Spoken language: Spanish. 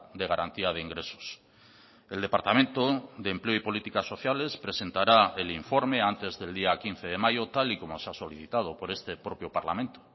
de garantía de ingresos el departamento de empleo y políticas sociales presentará el informe antes del día quince de mayo tal y como se ha solicitado por este propio parlamento